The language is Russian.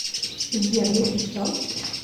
сбер если что